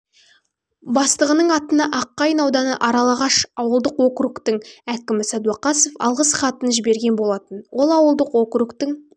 бастығының атына аққайын ауданы аралағаш ауылдық округтың әкімі сәдуәқасов алғыс хатын жіберген болатын ол ауылдық округтың